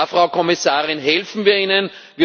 Da, Frau Kommissarin, helfen wir Ihnen.